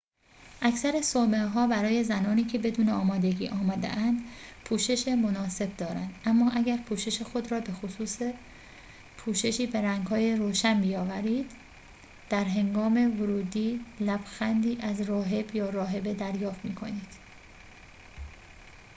اکثر صومعه ها برای زنانی که بدون آمادگی آمده‌اند پوشش مناسب دارند اما اگر پوشش خود را به خصوص پوششی به رنگهای روشن بیاورید در هنگام ورود لبخندی از راهب یا راهبه دریافت می کنید